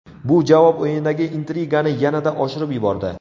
Bu javob o‘yinidagi intrigani yanada oshirib yubordi.